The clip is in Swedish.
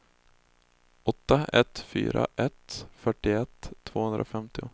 åtta ett fyra ett fyrtioett tvåhundrafemtio